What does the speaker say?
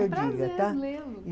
Vai ser um prazer, lê-lo